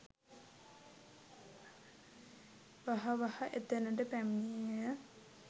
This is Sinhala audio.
වහා වහා එතැනට පැමිණියේය.